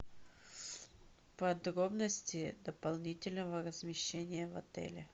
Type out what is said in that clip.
подробности дополнительного размещения в отеле